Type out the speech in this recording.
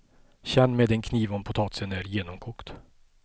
Känn med en kniv om potatisen är genomkokt.